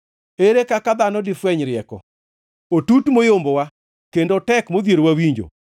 Ere kaka dhano difweny rieko? Otut moyombowa, kendo otek modhierowa winjo.